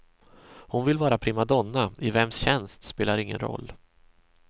Hon vill vara primadonna, i vems tjänst spelar ingen roll.